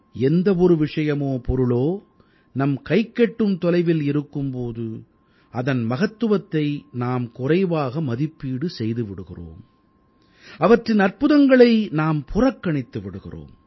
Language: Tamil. எந்த ஒரு விஷயமோ பொருளோ நம் கைக்கெட்டும் தொலைவில் இருக்கும் போது அதன் மகத்துவத்தை நாம் குறைவாக மதிப்பீடு செய்து விடுகிறோம் அவற்றின் அற்புதங்களை நாம் புறக்கணித்து விடுகிறோம்